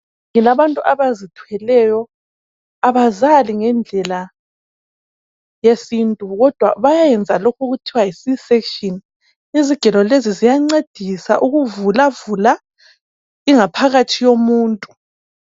Abantu abazithweleyo abazali ngendlela yesintu kodwa bayayenza lokhu okuthiwa yi csection izigelo lezi ziyancedisa ukuvula vula ingaphakathi yomuntu.